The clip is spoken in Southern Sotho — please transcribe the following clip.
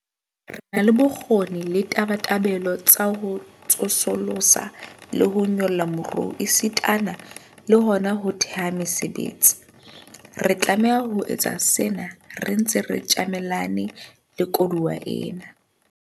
Re na le bokgoni le tabatabelo tsa ho tsosolosa le ho nyolla moruo esitana le hona ho theha mesebetsi. Re tlameha ho etsa sena re ntse re tjamelane le koduwa ena.